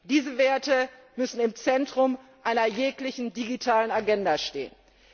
Diese Werte müssen im Zentrum einer jeglichen digitalen Agenda stehen.